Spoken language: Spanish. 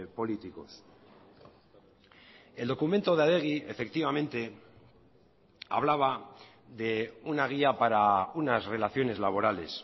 políticos el documento de adegi efectivamente hablaba de una guía para unas relaciones laborales